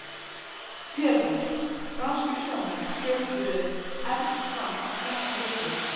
THEODÓRA: Franskir sjómenn hröpuðu efst fram af klettasyllu.